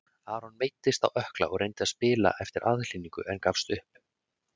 Aron meiddist á ökkla og reyndi að spila eftir aðhlynningu en gafst upp.